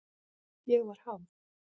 Ég var háð.